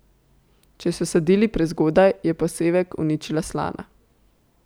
Če so sadili prezgodaj, je posevek uničila slana.